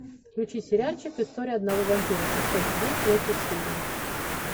включи сериальчик история одного вампира шестой сезон третья серия